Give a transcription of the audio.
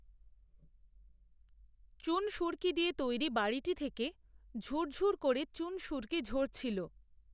চুনসুরকি দিয়ে তৈরি বাড়িটি থেকে, ঝূর ঝূর করে চুনসুরকি ঝরছিল